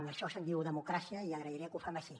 d’això se’n diu democràcia i agrairé que ho fem així